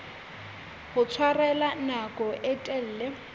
ho tshwarella nako e telele